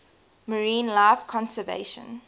marine life conservation